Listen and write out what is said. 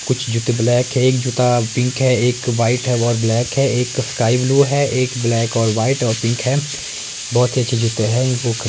कुछ जूते ब्लैक है एक जूता पिंक है एक वाइट है और ब्लैक है एक स्काई ब्लू है एक ब्लैक और वाइट और पिंक है बहुत ही अच्छे जूते है इनको --